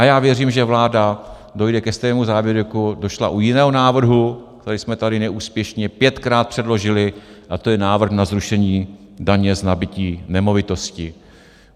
A já věřím, že vláda dojde ke stejnému závěru, jako došla u jiného návrhu, který jsme tady neúspěšně pětkrát předložili, a to je návrh na zrušení daně z nabytí nemovitosti.